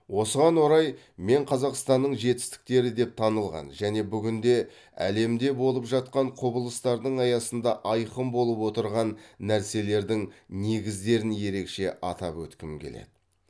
осыған орай мен қазақстанның жетістіктері деп танылған және бүгінде әлемде болып жатқан құбылыстардың аясында айқын болып отырған нәрселердің негіздерін ерекше атап өткім келеді